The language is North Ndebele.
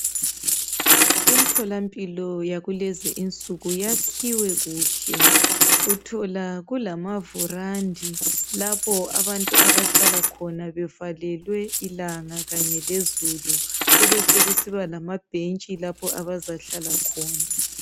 Imtholampilo yakulezi insuku yakhiwe kuhle. Uthola kulamavurandi lapho abantu abahlala khona bevalelwe ilanga kanye lezulu kubesekusiba lamabhentshi lapho abazahlala khona.